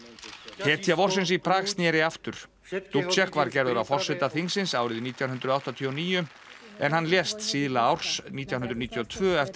hetja vorsins í Prag sneri aftur dubcek var gerður að forseta þingsins árið nítján hundruð áttatíu og níu en hann lést síðla árs nítján hundruð níutíu og tvö eftir